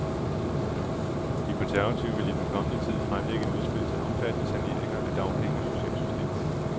De konservative vil i den kommende tid fremlægge et udspil til omfattende saneringer af dagpenge og socialsystemet.